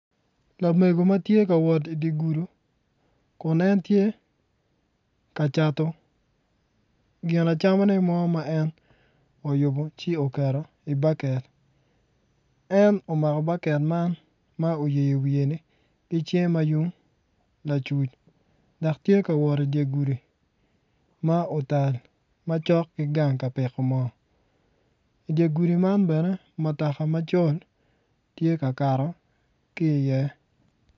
Lamego ma tye ka wot i dye gudi kun en tye ka cato ginacamone mo ma en oyubo ci oketo i baket en omako baket man ma oyeyo i wiye ki cinge ma yung lacuc dok tye ka wot i dye gudi ma otal ma cok ki gang ka pito moo i dye gudi man mutoka macol tye ka kato ki i ye.